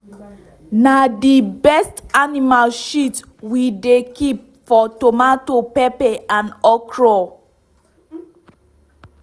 na the best animal shit we dey keep for tomato pepper and okra.